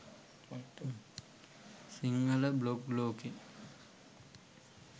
Sinhala blog ලෝකේ